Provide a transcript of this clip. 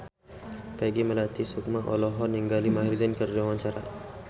Peggy Melati Sukma olohok ningali Maher Zein keur diwawancara